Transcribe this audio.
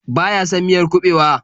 Baya son miyar kuɓewa.